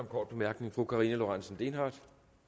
kort bemærkning fru karina lorentzen dehnhardt